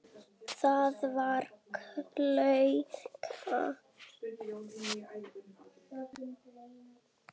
Ný stofnun er okkur gefin.